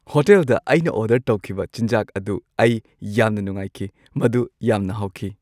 ꯍꯣꯇꯦꯜꯗ ꯑꯩꯅ ꯑꯣꯔꯗꯔ ꯇꯧꯈꯤꯕ ꯆꯤꯟꯖꯥꯛ ꯑꯗꯨ ꯑꯩ ꯌꯥꯝꯅ ꯅꯨꯡꯉꯥꯏꯈꯤ꯫ ꯃꯗꯨ ꯌꯥꯝꯅ ꯍꯥꯎꯈꯤ꯫